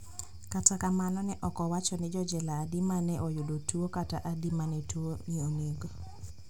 Kata kamano ne ok owacho ni jojela adi ma ne oyudo tuo kata adi ma ne tuoni onego